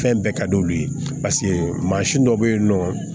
Fɛn bɛɛ ka di olu ye paseke mansin dɔ bɛ yen nɔ